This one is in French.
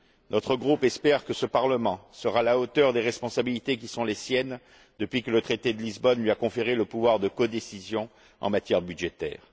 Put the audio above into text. Notre groupe espère que ce Parlement sera à la hauteur des responsabilités qui sont les siennes depuis que le traité de Lisbonne lui a conféré le pouvoir de codécision en matière budgétaire.